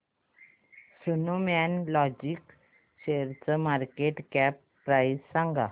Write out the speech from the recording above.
Snowman logistics शेअरची market cap price सांगा